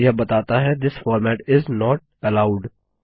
फिर यह बताता है this format is not allowed